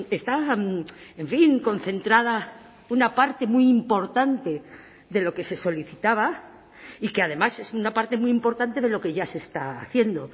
está en fin concentrada una parte muy importante de lo que se solicitaba y que además es una parte muy importante de lo que ya se está haciendo